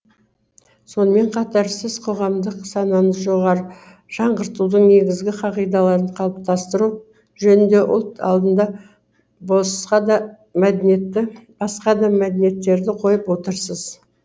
сонымен қатар сіз қоғамдық сананы жаңғыртудың негізгі қағидаларын қалыптастыру жөнінде ұлт алдында басқа да мәдиниеттерді қойып отырсыз